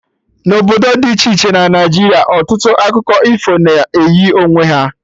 Na obodo dị iche iche na Naịjiria, ọtụtụ akụkọ ifo na eyi onwe ha